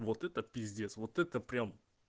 вот это ппиздец вот это прямо